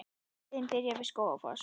Leiðin byrjar við Skógafoss.